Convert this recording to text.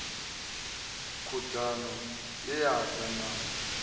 khudano ye ya da na